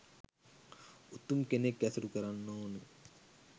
උතුම් කෙනෙක් ඇසුරු කරන්න ඕන